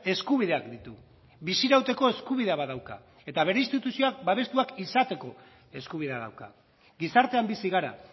eskubideak ditu bizi irauteko eskubidea badauka eta bere instituzioak babestuak izateko eskubidea dauka gizartean bizi gara